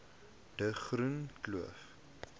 de groene kloof